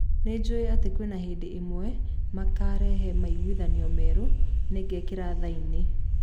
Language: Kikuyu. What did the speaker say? Nijuwe ati kwina hindi imwe makarehe maiguithanio merũ, ningekira thaini.